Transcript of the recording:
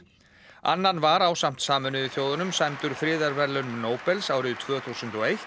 annan var ásamt Sameinuðu þjóðunum sæmdur friðarverðlaunum Nóbels árið tvö þúsund og eitt